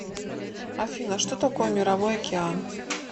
афина что такое мировой океан